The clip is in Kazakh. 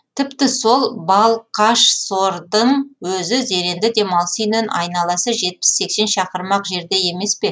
тіпті сол балқашсордың өзі зеренді демалыс үйінен айналасы жетпіс сексен шақырым ақ жерде емес пе